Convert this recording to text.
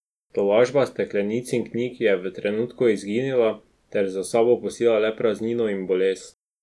Tolažba steklenic in knjig je v trenutku izginila ter za sabo pustila le praznino in bolest.